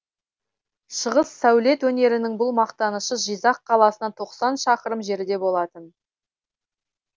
шығыс сәулет өнерінің бұл мақтанышы жизақ қаласынан тоқсан шақырым жерде болатын